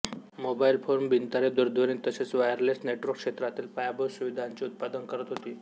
mobile phone बिनतारी दूरध्वनी तसेच वायरलेस नेटवर्क क्षेत्रातील पायाभूत सुविधांचे उत्पादन करत होती